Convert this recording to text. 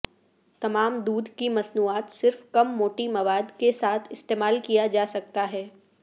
تمام دودھ کی مصنوعات صرف کم موٹی مواد کے ساتھ استعمال کیا جا سکتا ہے